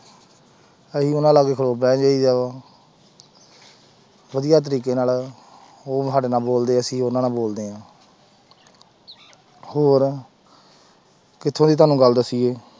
ਅਸੀਂ ਉਹਨਾਂ ਲਾਗੇ ਬਹਿ ਜਾਈਦਾ ਵਾ ਵਧੀਆ ਤਰੀਕੇ ਨਾਲ ਉਹ ਸਾਡੇ ਨਾਲ ਬੋਲਦੇ ਅਸੀਂ ਉਹਨਾਂ ਨਾਲ ਬੋਲਦੇ ਹਾਂ ਹੋਰ ਕਿੱਥੋਂ ਦੀ ਤੁਹਾਨੂੰ ਗੱਲ ਦੱਸੀਏ।